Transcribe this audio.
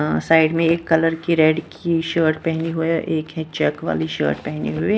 अ side में एक colour की रेड की शर्ट पहने हुए एक ही चेक वाली शर्ट पहने हुए--